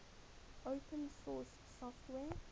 open source software